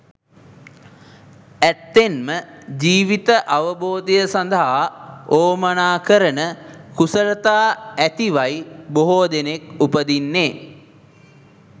ඇත්තෙන්ම ජීවිත අවබෝධය සඳහා වුවමනා කරන කුසලතා ඇතිවයි බොහෝ දෙනෙක් උපදින්නේ.